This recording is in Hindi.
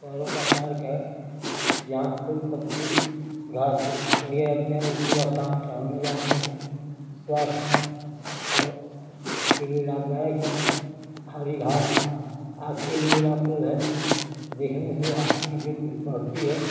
का पार्क है। जहाँ फूल पत्ती घास दिए जाते हैं। लोग सुबह शाम टहल नें जाते हैं। स्वास्थ्य ‌ और के लिए लाभदायक है। हरी घास आँख के लिए । देखने से आंख की बढ़ती है।